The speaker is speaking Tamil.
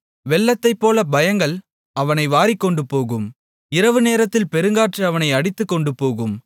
வெள்ளத்தைப்போல பயங்கள் அவனை வாரிக்கொண்டுபோகும் இரவுநேரத்தில் பெருங்காற்று அவனை அடித்துக்கொண்டுபோகும்